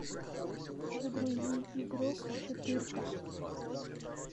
загрузи игрок четырка